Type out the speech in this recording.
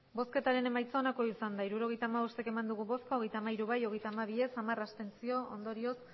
hirurogeita hamabost eman dugu bozka hogeita hamairu bai hogeita hamabi ez hamar abstentzio ondorioz